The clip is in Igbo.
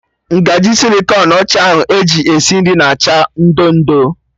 Ngaji sịlịkọn ọcha ahụ eji esi nri na acha ị ndo ndo